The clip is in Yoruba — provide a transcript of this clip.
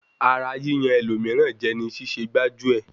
Ara yíyan ẹlòmíràn jẹ ni ṣíṣẹ gbájú-ẹ̀.